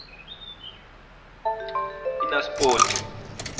inaspoti